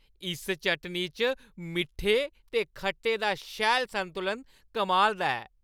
इस चटनी च मिट्ठे ते खट्टे दा शैल संतुलन कमाल दा ऐ।